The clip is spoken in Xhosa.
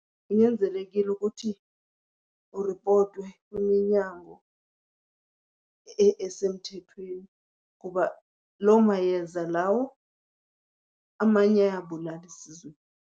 Kunyanzelekile ukuthi kuripotwe kwiminyango esemthethweni kuba loo mayeza lawo amanye ayabulala esizweni.